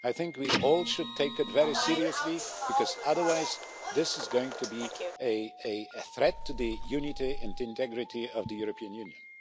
I think we all should take it very seriously, because otherwise this is going to be a threat to the unity and integrity of the European Union.